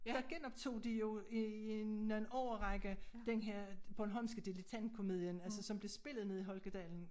Der genoptog de jo i i en årrække den her bornholmske dilettantkomedien altså som blev spillet nede i Holkadalen